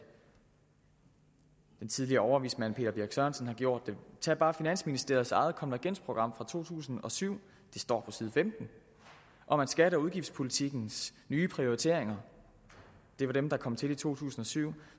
den tidligere overvismand peter birch sørensen har gjort det tag bare finansministeriets eget konvergensprogram fra to tusind og syv på side femten om at skatte og udgiftspolitikkens nye prioriteringer det var dem der kom til i to tusind og syv